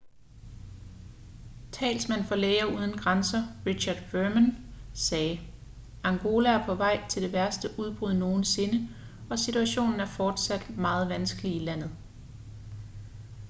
talsmand for læger uden grænser richard veerman sagde angola er på vej til det værste udbrud nogensinde og situationen er fortsat meget vanskelig i landet